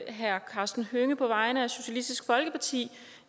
herre karsten hønge på vegne af socialistisk folkeparti